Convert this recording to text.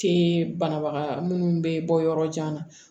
Te banabaga munnu be bɔ yɔrɔ jan na